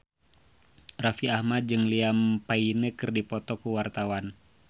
Raffi Ahmad jeung Liam Payne keur dipoto ku wartawan